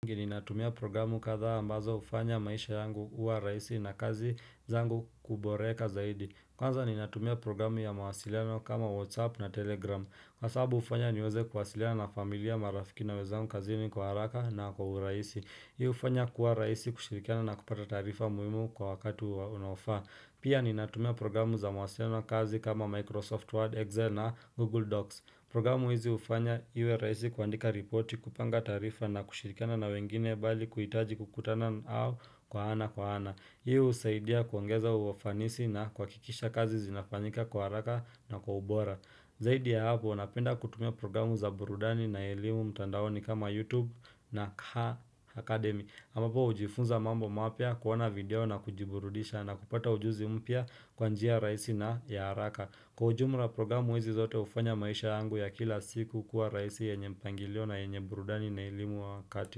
Ngini natumia programu kathaa ambazo hufanya maisha yangu kuwa rahisi na kazi zangu kuboreka zaidi Kwanza ni natumia programu ya mawasiliano kama Whatsapp na Telegram Kwa sababu hufanya niweze kwasiliana na familia marafiki na wenzangu kazini kwa haraka na kwa urahisi Hii hufanya kuwa rahisi kushirikiana na kupata taarifa muhimu kwa wakatu unaofaa Pia ni natumia programu za mawasiliano kazi kama Microsoft Word, Excel na Google Docs Programu hizi hufanya iwe rahisi kuandika ripoti kupanga tarifa na kushirikana na wengine bali kuhitaji kukutana nao kwa ana kwa ana. Hii husaidia kuangeza uwafanisi na kuhakikisha kazi zinafanyika kwa haraka na kwa ubora. Zaidi ya hapo, napenda kutumia programu za burudani na ilimu mtandaoni kama YouTube na KHA Academy. Amapo hujifunza mambo mapya kuona video na kujiburudisha na kupata ujuzi mpya kwa njia raisi na ya haraka. Kwa ujumla programu hizi zote hufanya maisha yangu ya kila siku kuwa rahisi yenye mpangilio na yenye burudani na ilimu wa wakati.